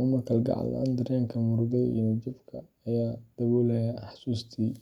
ama kalgacal la’aan, dareenka murugada iyo niyad-jabka ayaa daboolaya xasuustii.